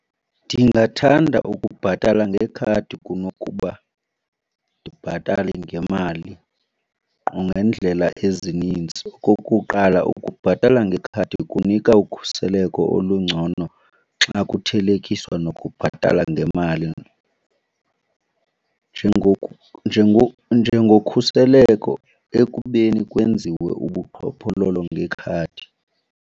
Ndingathanda ukubhatala ngekhadi kunokuba ndibhatale ngemali nangeendlela ezininzi. Okokuqala, ukubhatala ngekhadi kunika ukhuseleko olungcono xa kuthelekiswa nokubhatala ngemali njengokhuseleko ekubeni kwenziwe ubuqhophololo ngekhadi.